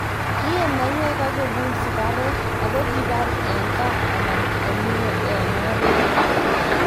Kiee maiywek ak kogul sigareg, ako kikipar eng gaa anan kokimee eng oret